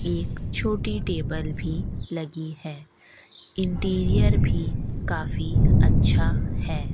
एक छोटी टेबल भी लगी है इंटीरियर भी काफी अच्छा है।